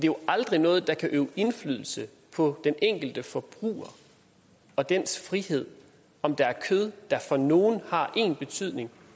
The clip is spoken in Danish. jo aldrig noget der kan øve indflydelse på den enkelte forbruger og dennes frihed om der er kød der for nogle har én betydning